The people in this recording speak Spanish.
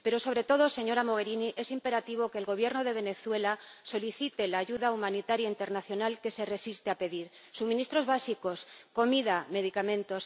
Pero sobre todo, señora Mogherini, es imperativo que el Gobierno de Venezuela solicite la ayuda humanitaria internacional que se resiste a pedir suministros básicos, comida, medicamentos.